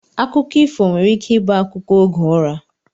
Akụkọ ifo nwere ike ibu akụkọ oge ụra